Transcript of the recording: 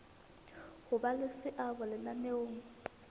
ho ba le seabo lenaneong